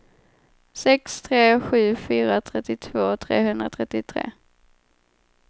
sex tre sju fyra trettiotvå trehundratrettiotre